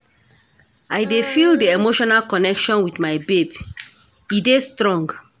I dey feel di emotional connection wit my babe, e dey strong